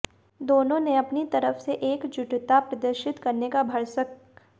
दोनों ने अपनी तरफ से एकजुटता प्रदर्शित करने का भरसक